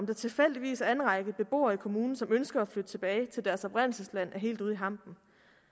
der tilfældigvis er en række beboere i kommunen som ønsker at flytte tilbage til deres oprindelsesland er helt ude i hampen